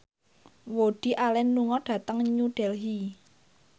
Woody Allen lunga dhateng New Delhi